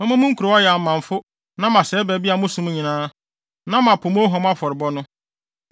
Mɛma mo nkurow ayɛ amamfo na masɛe baabi a mosom nyinaa, na mapo mo ohuam afɔrebɔ no.